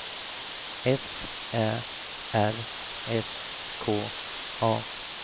F Ä R S K A